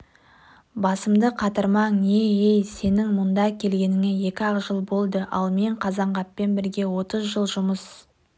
басымды қатырмаң не-ей сенің мұнда келгеніңе екі-ақ жыл болды ал мен қазанғаппен бірге отыз жыл жұмыс